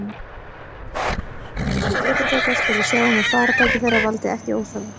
Eigendur vélknúinna ökutækja skulu sjá um að farartæki þeirra valdi ekki óþarfa